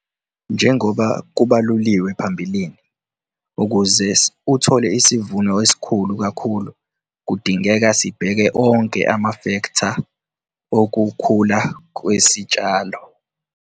Njengoba kubaluliwe phambilini, ukuze uthole isivuno esikhulu kakhulu, kudingeka sibheke onke amafektha okukhula kwesitshalo.